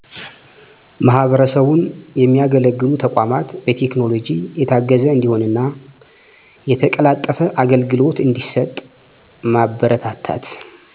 ማህበረሰቡን የሚያገለግሉ ተቋማት በቴክኖሎጂ የታገዘ እንዲሆንና የተቀላጠፈ አገልግሎ እዲሠጥ ማበረታታት